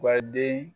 Wa den